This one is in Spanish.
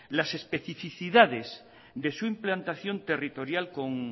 las especificidades de su implantación territorial con